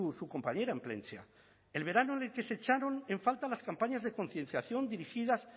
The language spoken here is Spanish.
su compañera en plentzia el verano en el que se echaron en falta las campañas de concienciación dirigidas